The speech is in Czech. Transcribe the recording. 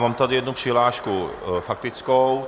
Mám tady jednu přihlášku faktickou.